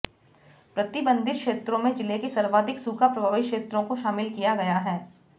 प्रतिबंधित क्षेत्रों में जिले के सर्वाधिक सूखा प्रभावित क्षेत्रों को शामिल किया गया है